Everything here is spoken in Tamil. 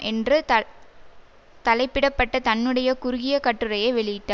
என்று தலைப்பிட பட்ட தன்னுடைய குறுகிய கட்டுரையை வெளியிட்டா